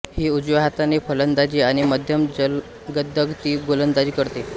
ही उजव्या हाताने फलंदाजी आणि मध्यम जलदगती गोलंदाजी करते